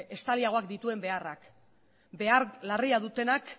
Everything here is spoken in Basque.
estaliagoak dituen beharrak behar larriak dutenak